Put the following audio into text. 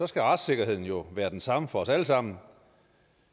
skal retssikkerheden jo være den samme for os alle sammen